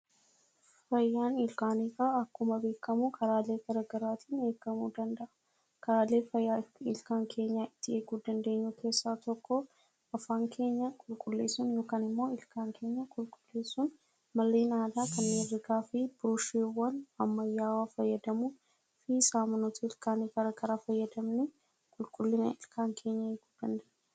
Fayyaan ilkaaniifaa akkuma beekuma karaalee garaa garaatiin eegamuu danda'aa. Karaaleen fayyaa ilkaan keenyaa itti eeguu dandeenyu keessaa tokko afaan keenya qulqulleessuun yookaan immoo ilkaan keenyaa qulqulleessuun malleen aadaa kanneen akka haxooftuuwwan ammayyawwaa fayyadamuu fi saamunoota ilkaanii garaa garaa fayyadamnee qulqullina ilkaan keenyaa eeguu kan dandeenyuudha.